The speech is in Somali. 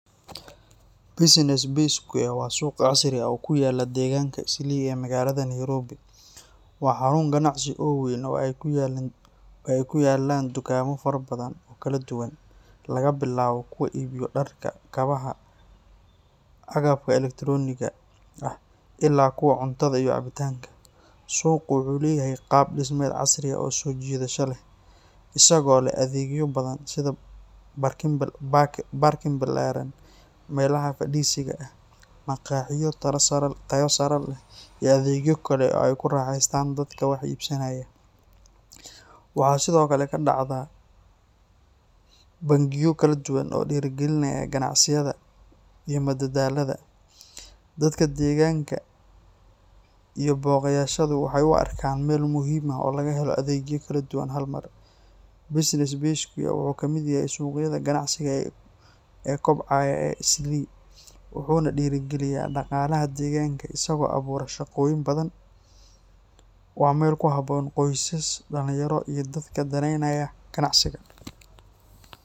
Business Bay Square waa suuq casri ah oo ku yaalla deegaanka Islii ee magaalada Nairobi. Waa xarun ganacsi oo weyn oo ay ku yaalliin dukaamo fara badan oo kala duwan, laga bilaabo kuwa iibiyo dharka, kabaha, agabka elektarooniga ah ilaa kuwa cuntada iyo cabitaanka. Suuqu wuxuu leeyahay qaab dhismeed casri ah oo soo jiidasho leh, isagoo leh adeegyo badan sida baarkin ballaaran, meelaha fadhiisiga ah, maqaaxiyo tayo sare leh, iyo adeegyo kale oo ay ku raaxaystaan dadka wax iibsanaya. Waxaa sidoo kale ka dhacda bandhigyo kala duwan oo dhiirrigeliya ganacsiga iyo madadaalada. Dadka deegaanka iyo booqdayaashu waxay u arkaan meel muhiim ah oo laga helayo adeegyo kala duwan hal mar. Business Bay Square wuxuu ka mid yahay suuqyada ganacsi ee kobcaya ee Islii, wuxuuna dhiirrigeliyaa dhaqaalaha deegaanka isagoo abuura shaqooyin badan. Waa meel ku habboon qoysas, dhalinyaro iyo dadka danaynaya ganacsiga.